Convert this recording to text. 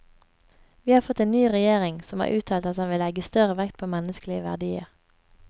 Vi har fått en ny regjering, som har uttalt at den vil legge større vekt på menneskelige verdier.